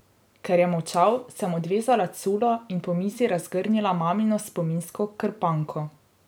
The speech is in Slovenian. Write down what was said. Ker je molčal, sem odvezala culo in po mizi razgrnila mamino spominsko krpanko.